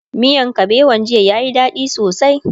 miyan kabewan jiya ya Yi dadi sosai